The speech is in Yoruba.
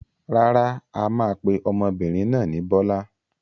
Rárá, a máa pe ọmọbìnrin náà ni Bọ́lá.